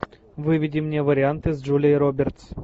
выведи мне варианты с джулией робертс